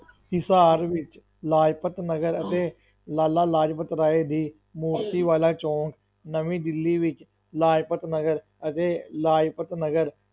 ਹਿਸਾਰ ਵਿੱਚ ਲਾਜਪਤ ਨਗਰ ਅਤੇ ਲਾਲਾ ਲਾਜਪਤ ਰਾਏ ਦੀ ਮੂਰਤੀ ਵਾਲਾ ਚੌਕ, ਨਵੀਂ ਦਿੱਲੀ ਵਿੱਚ ਲਾਜਪਤ ਨਗਰ ਅਤੇ ਲਾਜਪਤ ਨਗਰ